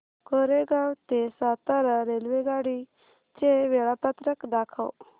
कोरेगाव ते सातारा रेल्वेगाडी चे वेळापत्रक दाखव